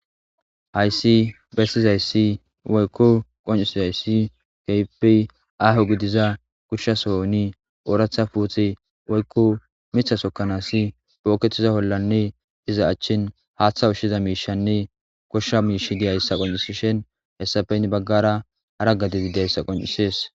hayssi bessizayssi woykko qoncisizayssi keype aaho gidiza kushsha sohoni ooratha puuthi woykko mitha sokkanaasi pookettiza hollanne iza achchin haaththa ushshiza miishanne koshsha miish diyayssa qoncisishen hessafeynn baggara aragadibideyssa qoncisees